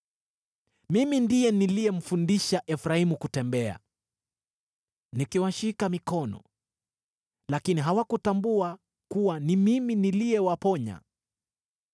Mimi ndiye niliyemfundisha Efraimu kutembea, nikiwashika mikono; lakini hawakutambua kuwa ni mimi niliyewaponya.